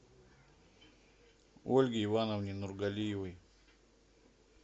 ольге ивановне нургалиевой